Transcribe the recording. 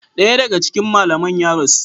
Daya daga cikin malaman ya rasu.